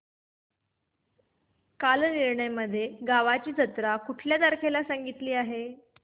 कालनिर्णय मध्ये गावाची जत्रा कुठल्या तारखेला सांगितली आहे